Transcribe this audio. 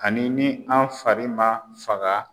Ani ni an fari man faga